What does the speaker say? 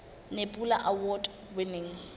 nebula award winning